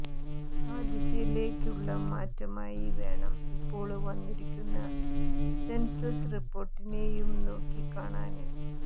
ആ ദിശയിലേയ്ക്കുള്ള മാറ്റമായി വേണം ഇപ്പോള് വന്നിരിക്കുന്ന സെന്സസ് റിപ്പോര്ട്ടിനെയും നോക്കിക്കാണാന്